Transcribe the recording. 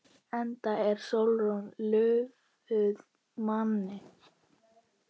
Enda er Sólrún lofuð manni.